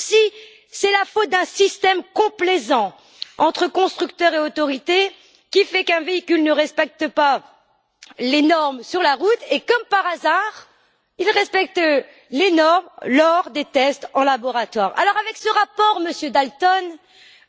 Mais c'est aussi à cause d'un système complaisant entre constructeurs et autorités qu'un véhicule ne respecte pas les normes sur la route et, comme par hasard, les respecte lors des tests en laboratoire. Avec ce rapport, Monsieur Dalton,